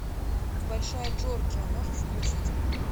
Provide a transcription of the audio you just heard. большая джорджия можешь включить